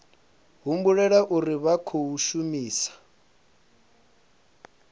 humbulela uri vha khou shumisa